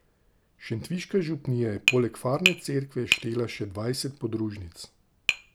Šentviška župnija je poleg farne cerkve štela še dvajset podružnic.